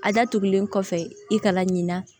A datugulen kɔfɛ i kana ɲina